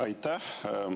Aitäh!